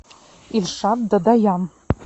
ильшат дадаян